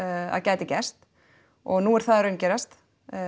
að gæti gerst og nú er það að raungerast